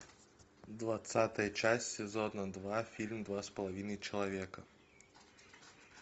двадцатая часть сезона два фильм два с половиной человека